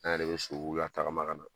An yɛrɛ bɛ latagama ka na